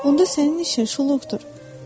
Onda sənin işin şuluqdur.